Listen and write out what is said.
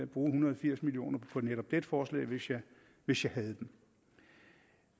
bruge en hundrede og firs million på netop dette forslag hvis jeg hvis jeg havde dem